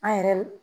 An yɛrɛ